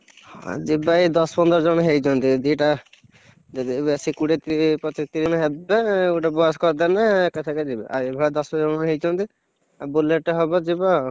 ଆଉ ଯିବା ଏ ଦଶ ପନ୍ଦର ଜଣ ହେଇଛନ୍ତି ଦି ଟା, ଯଦି ଏବେ ଆସି କୋଡିଏତି ପଚିଶି ଜଣ ହେବେ ଗୋଟେ bus କରିଦେଲେ ଏକାଥରେ ଯିବା ଏଇବା ଦଶ ଜଣ ହେଇଛନ୍ତି। ଆଉ bullet ହବ ଯିବା ଆଉ।